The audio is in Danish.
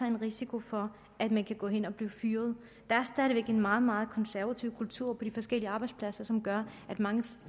en risiko for at man kan gå hen og blive fyret der er stadig væk en meget meget konservativ kultur på de forskellige arbejdspladser som gør at mange